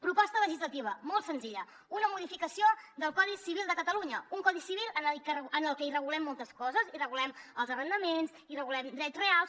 proposta legislativa molt senzilla una modificació del codi civil de catalunya un codi civil en el que hi regulem moltes coses hi regulem els arrendaments hi regulem drets reals